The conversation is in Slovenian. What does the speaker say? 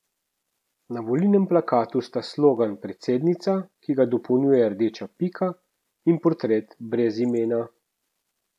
Na volilnem plakatu sta slogan Predsednica, ki ga dopolnjuje rdeča pika, in portret brez imena.